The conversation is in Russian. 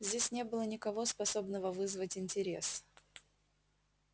здесь не было никого способного вызвать интерес